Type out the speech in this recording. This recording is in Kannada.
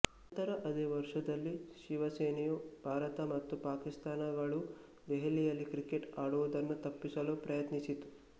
ನಂತರ ಅದೇ ವರುಷದಲ್ಲಿ ಶಿವಸೇನೆಯು ಭಾರತ ಮತ್ತು ಪಾಕಿಸ್ತಾನಗಳು ದೆಹಲಿಯಲ್ಲಿ ಕ್ರಿಕೆಟ್ ಆಡುವುದನ್ನು ತಪ್ಪಿಸಲು ಪ್ರಯತ್ನಿಸಿತು